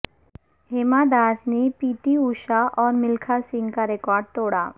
ہیما داس نے P T Usha اور ملکھا سنگھ کا ریکارڈ توڑا